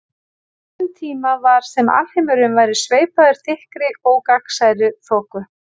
Á þessum tíma var sem alheimurinn væri sveipaður þykkri ógagnsærri þoku.